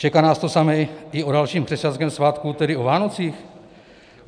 Čeká nás to samé i o dalším křesťanském svátku, tedy o Vánocích?